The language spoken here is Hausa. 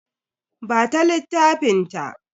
Ba ta littafin ta.